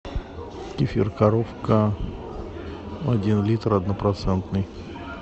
кефир коровка один литр однопроцентный